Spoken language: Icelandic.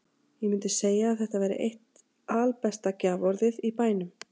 Ég mundi segja að þetta væri eitt albesta gjaforðið í bænum.